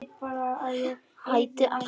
Hætti að hlæja.